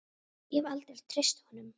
Ég hef aldrei treyst honum.